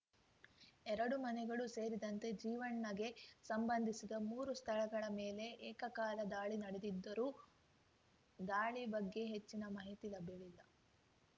ಎರಡು ಮನೆಗಳೂ ಸೇರಿದಂತೆ ಜೀವಣ್ಣಗೆ ಸಂಬಂಧಿಸಿದ ಮೂರು ಸ್ಥಳಗಳ ಮೇಲೆ ಏಕಕಾಲ ದಾಳಿ ನಡೆದಿದ್ದು ದಾಳಿ ಬಗ್ಗೆ ಹೆಚ್ಚಿನ ಮಾಹಿತಿ ಲಭ್ಯವಿಲ್ಲ